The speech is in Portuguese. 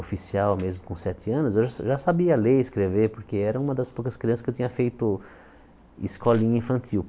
oficial, mesmo com sete anos, eu já sabia ler e escrever, porque era uma das poucas crianças que eu tinha feito escolinha infantil.